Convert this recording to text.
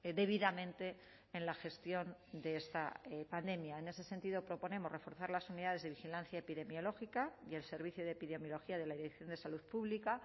debidamente en la gestión de esta pandemia en ese sentido proponemos reforzar las unidades de vigilancia epidemiológica y el servicio de epidemiología de la dirección de salud pública